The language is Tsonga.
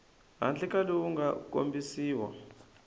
handle ka lowu nga kombisiwa